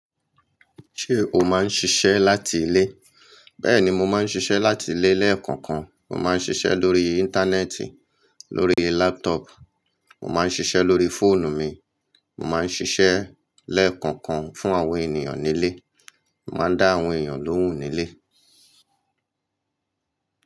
Ṣé o máa ń ṣiṣẹ́ láti ilé? Bẹ́ẹ̀ni, mo máa ń ṣiṣẹ́ láti ilé lẹ́ẹ̀kọ̀kan. Mo máa ń ṣiṣẹ́ lórí Íńtánẹ́ẹ̀tì, lórí lápútọ̀ọ̀pù, mo máa ń ṣiṣẹ́ lórí fóònù mi. Mo máa ń ṣiṣẹ́ lẹ́ẹ̀kọ̀kan fún àwọn ènìyàn nílé. Mo máa ń dá àwọn èèyàn lóhùn nílé.